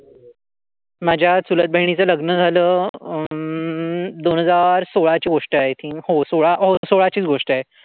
माझ्या चुलत बहिणीच लग्न झाल अं दोन हजार सोळा ची गोष्ट आहे. आय थिंक हो. सोळा. हो. सोळा चीच गोष्ट आहे.